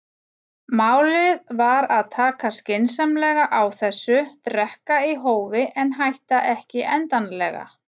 Málið var að taka skynsamlega á þessu, drekka í hófi en hætta ekki endanlega.